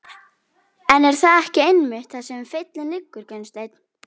En er það ekki einmitt þar sem feillinn liggur Gunnsteinn?